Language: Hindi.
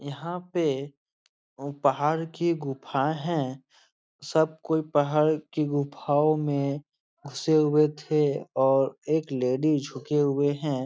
यहाँ पे ओ पहाड़ की गुफ़ाएं हैं। सब कोई पहाड़ की गुफ़ाओं में घुसे हुए थे और एक लेडिज झुके हुए हैं।